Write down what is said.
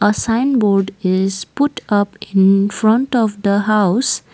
a sign board is put up in front of the house.